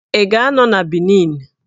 Ị ga-anọ na Benin?